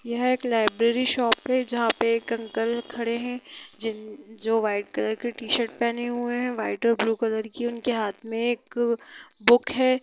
यह एक library shop है जहाँ पे एक अंकल खड़े है जिन जो वाइट कलर की त शर्ट पेहने है वाइट और ब्लू कलर की उनके हाथ में एक बुक है।